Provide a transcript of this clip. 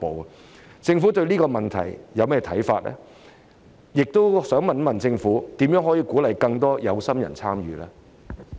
我想問政府對這個問題有何看法，以及如何可以鼓勵更多有心人參與呢？